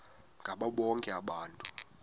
ngabo bonke abantu